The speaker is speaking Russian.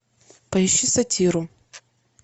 поищи сатиру